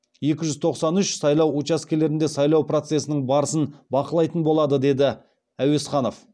екі жүз тоқсан үш сайлау учаскелерінде сайлау процесінің барысын бақылайтын болады деді әуесханов